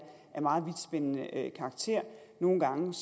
af meget vidtspændende karakter nogle gange